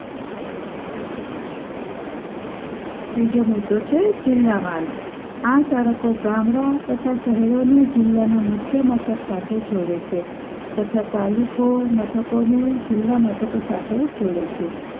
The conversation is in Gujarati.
ત્રીજો મુદ્દો છે જિલ્લા માર્ગ આ સડકો ગામડા તથા શહેર ના જિલ્લા ના મુખ્ય મથક સાથે જોડે છે તથા તાલુકો અમે મથકો ને જિલ્લા મથકો સાથે જોડે છે